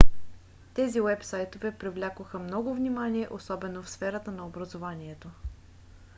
тези уебсайтове привлякоха много внимание особено в сферата на образованието